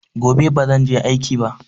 Gobe bazan je aiki ba.